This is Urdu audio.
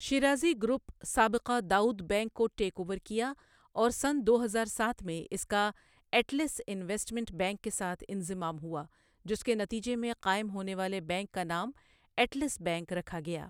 شیرازی گروپ سابقہ داؤد بینک کو ٹیک اوور کیا اور سن دو ہزار سات میں اس کا ایٹلس انویسٹمنٹ بینک کے ساتھ انضمام ہوا جس کے نتیجے میں قائم ہونے والے بینک کا نام ایٹلس بینک رکھا گیا ۔